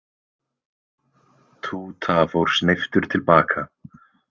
Túta fór sneyptur til baka.